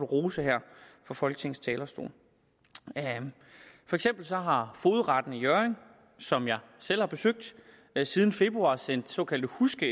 rose her fra folketingets talerstol for eksempel har fogedretten i hjørring som jeg selv har besøgt siden februar sendt såkaldte huske